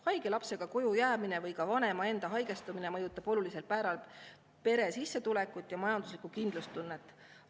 Haige lapsega koju jäämine või ka vanema enda haigestumine, mõjutab olulisel määral pere sissetulekut ja majanduslikku kindlustunnet.